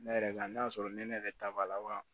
Ne yɛrɛ ka n'a sɔrɔ ne ne yɛrɛ ta b'a la wa